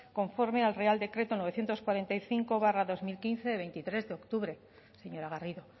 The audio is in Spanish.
conforme al real decreto novecientos cuarenta y cinco barra dos mil quince de veintitrés de octubre señora garrido